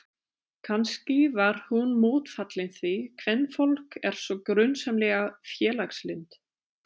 Kannski var hún mótfallin því, kvenfólk er svo grunsamlega félagslynt.